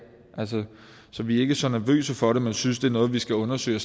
så vi er ikke så nervøse for det men synes det er noget vi skal undersøge